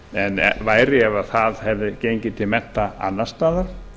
en væri ef það hefði gengið til mennta annars staðar